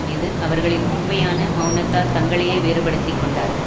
மீது அவர்களின் உண்மையான மெளனத்தால் தங்களையே வேறுபடுத்தி கொண்டார்கள்